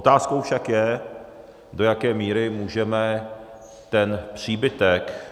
Otázkou však je, do jaké míry můžeme ten příbytek